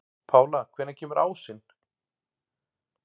Pála, hvenær kemur ásinn?